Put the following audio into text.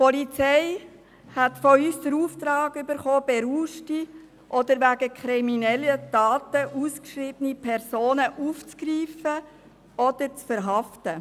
Die Polizei erhielt von uns den Auftrag, berauschte oder wegen kriminellen Taten ausgeschriebene Personen aufzugreifen oder zu verhaften.